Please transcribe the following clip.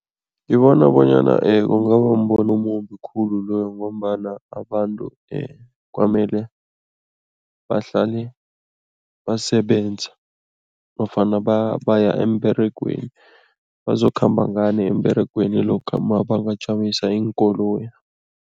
Ngibona bonyana kungaba mbono omumbi khulu loyo ngombana abantu kwamele bahlale basebenza nofana baya emberegweni. Bazokhamba ngani emberegweni lokha mabangajamisa iinkoloyi?